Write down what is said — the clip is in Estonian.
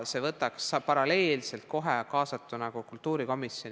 Siis võiks kohe paralleelselt olla kaasatud ka kultuurikomisjon.